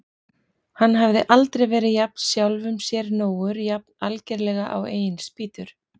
Hann hafði aldrei verið jafn sjálfum sér nógur, jafn algerlega á eigin spýtur.